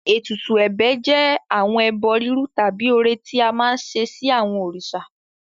Ètùtù ẹ̀bẹ̀ jẹ́ àwọn ẹbọ rírú tàbí ọrẹ tí a máa ń ṣe sí àwọn òrìṣà.